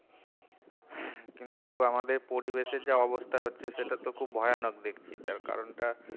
কিন্তু আমাদের পরিবেশের যা অবস্থা হচ্ছে সেটা তো খুব ভয়ানক দেখছি তার কারণটা